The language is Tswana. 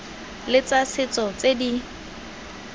le tsa setso tse di